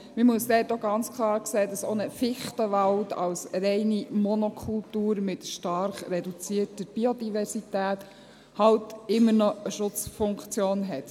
Uns muss klar sein, dass auch ein Fichtenwald, als reine Monokultur, mit stark reduzierter Biodiversität, eben immer noch eine Schutzfunktion hat.